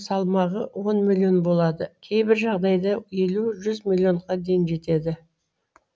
салмағы он миллион болады кейбір жағдайда елу жүз миллионға дейін жетеді